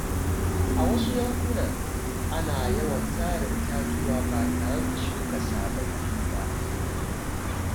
A wasu yankuna, ana yawan sare itatuwa ba tare da shuka sababbi ba.